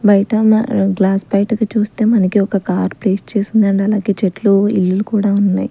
బయట గ్లాస్ బయటకు చూస్తే మనకి ఒక కార్ ప్లేస్ చేసి ఉంది అండ్ అలాగే చెట్లు ఇల్లులు కూడా ఉన్నాయ్.